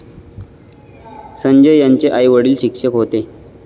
संजय यांचे आई वडील शिक्षक होते